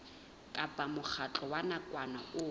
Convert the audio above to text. kapa mokgatlo wa nakwana o